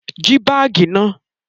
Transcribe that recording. Jí bá báágì náà!